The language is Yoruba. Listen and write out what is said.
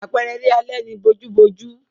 Àpẹẹrẹ eré alẹ́ ni bojúbojú.